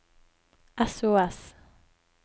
sos